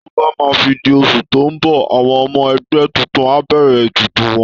Tó bá máa fi di oṣù tó ń bọ̀, àwọn ọmọ ẹgbẹ́ tuntun á bẹ̀rẹ̀ ètùtù wọn